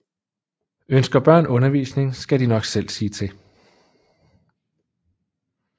Ønsker børn undervisning skal de nok selv sige til